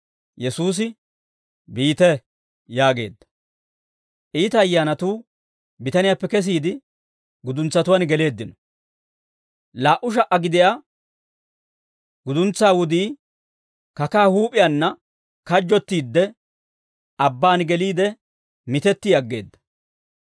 Yesuusi, «Biite» yaageedda. Iita ayyaanatuu bitaniyaappe kesiide, guduntsatuwaan geleeddino; laa"u sha"a gidiyaa guduntsaa wudii kakaa huup'iyaanna kajjottiidde, abbaan geliide, mitetti aggeedda.